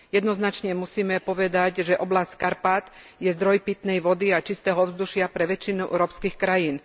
Jednoznačne musíme povedať, že oblasť Karpát je zdroj pitnej vody a čistého ovzdušia pre väčšinu európskych krajín.